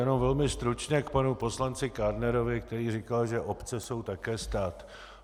Jenom velmi stručně k panu poslanci Kádnerovi, který říkal, že obce jsou také stát.